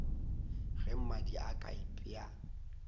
ge mmadi a ka ipea